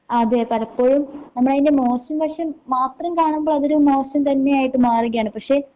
അതെ പലപ്പോഴും നമ്മളയിനെ മോശം വശം മാത്രം കാണുമ്പോ അതൊരു മോശം തന്നെയായിട്ട് മാറുകയാണ് പക്ഷേ